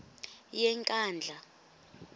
yenkandla